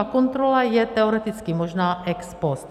A kontrola je teoreticky možná ex post.